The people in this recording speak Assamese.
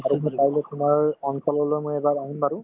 আৰু একবাৰ তাৰপিছত তোমাৰ অঞ্চললৈ মই এবাৰ আহিম বাৰু